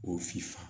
O sifa